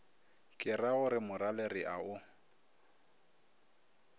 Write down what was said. keragore morale re a o